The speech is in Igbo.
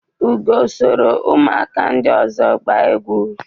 Ugo sọrọ umuaka ndị ọzọ gbaa egwu.